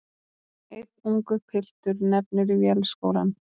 Einn ungur piltur nefnir Vélskólann.